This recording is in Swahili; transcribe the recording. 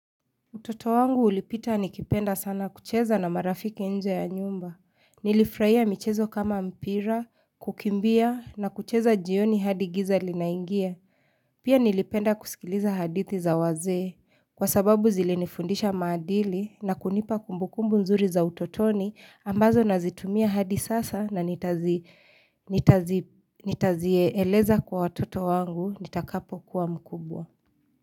Utoto wangu ulipita nikipenda sana kucheza na marafiki nje ya nyumba. Nilifurahia michezo kama mpira, kukimbia na kucheza jioni hadi giza linaingia. Pia nilipenda kusikiliza hadithi za wazee. Kwa sababu zilinifundisha maadili na kunipa kumbukumbu nzuri za utotoni ambazo nazitumia hadi sasa na nitazieeleza kwa watoto wangu nitakapokuwa mkubwa.